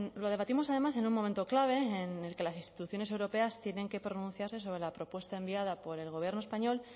lo debatimos además en un momento clave en el que las instituciones europeas tienen que pronunciarse sobre la propuesta enviada por el gobierno español